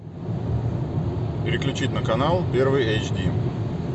переключить на канал первый эйч ди